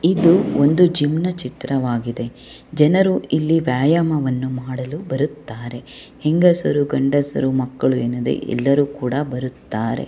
ಇದು ಒಂದು ಜಿಮ್ ನ ಚಿತ್ರವಾಗಿದೆ ಜನರು ಇಲ್ಲಿ ವ್ಯಾಯಾಮವನ್ನು ಮಾಡಲು ಬರುತ್ತಾರೆ ಹೆಂಗಸರು ಗಂಡಸರು ಮಕ್ಕಳು ಎನ್ನದೆ ಎಲ್ಲರೂ ಕೂಡ ಬರುತ್ತಾರೆ.